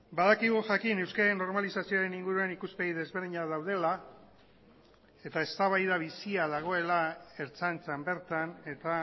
badakigu jakin euskararen normalizazioaren inguruan ikuspegi desberdinak daudela eta eztabaida bizia dagoela ertzaintzan bertan eta